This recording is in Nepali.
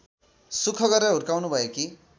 सुख गरेर हुर्काउनुभएकी